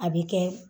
A bɛ kɛ